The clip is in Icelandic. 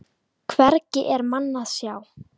Hvergi er mann að sjá.